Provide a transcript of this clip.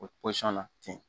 O pɔsɔn na ten